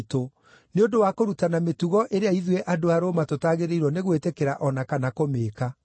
nĩ ũndũ wa kũrutana mĩtugo ĩrĩa ithuĩ andũ a Roma tũtagĩrĩirwo nĩ gwĩtĩkĩra o na kana kũmĩĩka.”